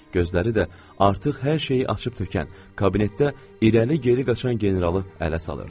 Gözləri də artıq hər şeyi açıb tökən kabinetdə irəli-geri qaçan generalı ələ salırdı.